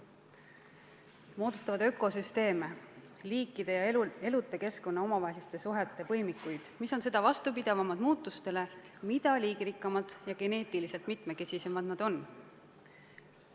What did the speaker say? Nad moodustavad ökosüsteeme, liikide ja eluta keskkonna omavaheliste suhete põimikuid, mis on seda vastupidavamad muutustele, mida liigirikkamad ja geneetiliselt mitmekesisemad nad on.